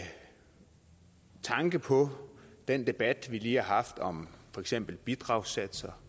tanke på den debat vi lige har haft om for eksempel bidragssatser